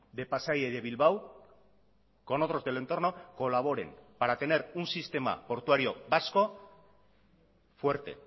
de pasaia y de bilbao con otros del entorno colaboren para tener un sistema portuario vasco fuerte